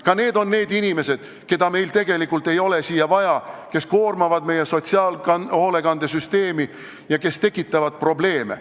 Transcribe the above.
Ka nemad on need inimesed, keda meile siia tegelikult vaja ei ole, kes koormavad meie sotsiaalhoolekandesüsteemi ja kes tekitavad probleeme.